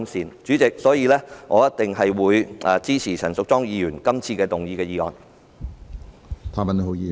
因此，主席，我一定會支持陳淑莊議員動議的議案。